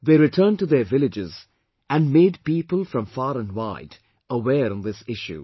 They returned to their villages and made people from far and wide aware on this issue